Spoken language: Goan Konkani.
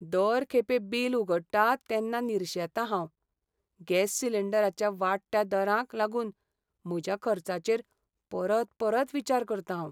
दर खेपे बील उगडटां तेन्ना निरशेतां हांव. गॅस सिलिंडराच्या वाडट्या दरांक लागून म्हज्या खर्चाचेर परत परत विचार करतां हांव.